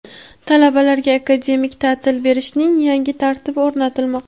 Talabalarga akademik ta’til berishning yangi tartibi o‘rnatilmoqda.